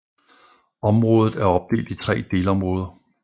Omådet er opdelt i tre delområder